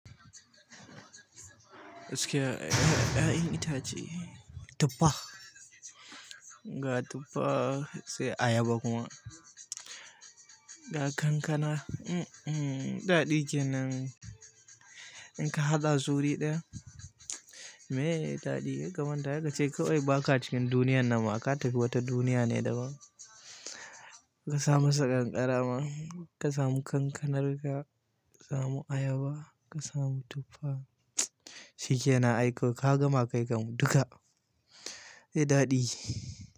Gaskiya 'ya'yan itace, tufa. Ga tufa sai ayaba kuma ga kankana. Um, um, daɗi kenan. In ka haɗa a suru ɗaya. Me daɗi. Ka manta ya ga baka cikin duniya nan ma ka tafi wata duniya ne daban. Ka samasa ƙanƙara ma, ka samu kankanarka, ka samu ayaba, kasamu tuffa. Shi ke na aiko. Ka gama kai kan mu duka. Eh daɗi.